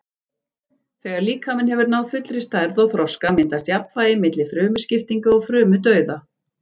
Þegar líkaminn hefur náð fullri stærð og þroska myndast jafnvægi milli frumuskiptinga og frumudauða.